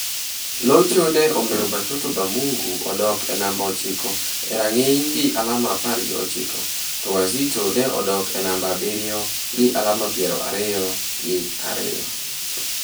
Locho ne omiyo Batoto ba Mungu odok e namba ochiko e rang'iny gi alama apar gi ochiko, to Wazito ne odok e namba abiriyo gi alama piero ariyo gi ariyo.